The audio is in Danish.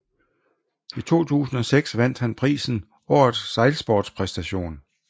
I 2006 vandt han prisen Årets Sejlsportspræstation